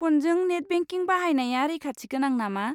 फ'नजों net banking बाहायनाया रैखाथिगोनां नामा?